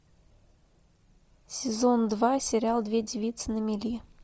сезон два сериал две девицы на мели